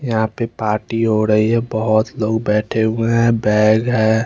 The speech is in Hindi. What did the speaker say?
यहा पे पार्टी हो रही है बोहोत लोग बेठे हुए बेग है।